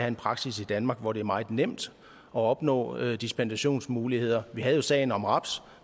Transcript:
en praksis i danmark hvor det er meget nemt at opnå dispensationsmuligheder vi havde jo sagen om raps